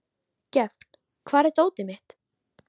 Gefn, hvar er dótið mitt?